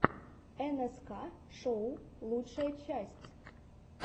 нск шоу лучшая часть